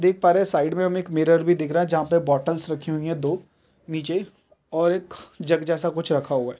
देख पा रहे है साइड मे हमे एक मिरर भी दिख रहा है जहाँ पे बॉटलस रखी हुई है दो नीचे और एक जग जैसा कुछ रखा हुआ है।